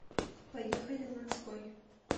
поехали ланской